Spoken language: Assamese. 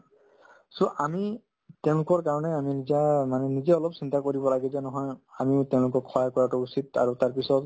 so, আমি তেওঁলোকৰ কাৰণে আমি নিজা মানে নিজে অলপ চিন্তা কৰিব লাগে যে নহয় আমিও তেওঁলোকক সহায় কৰাতো উচিত আৰু তাৰপিছত